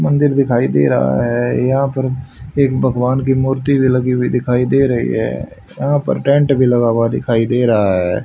मंदिर दिखाई दे रहा है यहां पर एक भगवान की मूर्ति भी लगी हुई दिखाई दे रही है यहां पर टेंट भी लगा हुआ दिखाई दे रहा है।